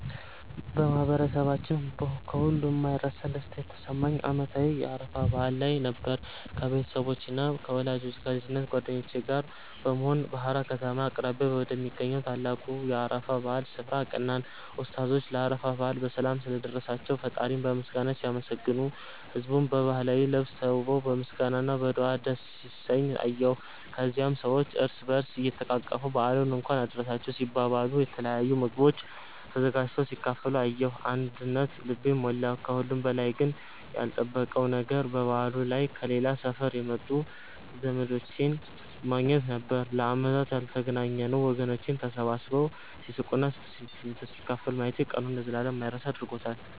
በማህበረሰባችን ከሁሉ የማይረሳ ደስታ የተሰማኝ በዓመታዊው የአረፋ በዓል ላይ ነበር። ከቤተሰቦቼና ከልጅነት ጓደኞቼ ጋር በመሆን በሃራ ከተማ አቅራቢያ ወደሚገኘው ታላቁ የአረፋ በዓል ስፍራ አቀናን። ኡስታዞቹ ለአረፋ በዓል በሰላም ስላደረሳቸው ፈጣሪን በምስጋና ሲያመሰግኑ፣ ህዝቡም በባህላዊ ልብስ ተውቦ በምስጋና እና በዱዓ ደስ ሲሰኝ አየሁ። ከዚያም ሰዎች እርስ በእርስ እየተቃቀፉ በዓሉን እንኳን አደረሳችሁ ሲባባሉ፣ የተለያዩ ምግቦች ተዘጋጅተው ሲካፈሉ ያየሁት አንድነት ልቤን ሞላው። ከሁሉም በላይ ግን ያልተጠበቀው ነገር በበዓሉ ላይ ከሌላ ሰፈር የመጡ ዘመዶቼን ማግኘታችን ነበር፤ ለዓመታት ያልተገናኘነው ወገኖቼን ተሰባስበው ሲስቁና ትዝታ ሲካፈሉ ማየቴ ቀኑን ለዘላለም የማይረሳ አድርጎታል።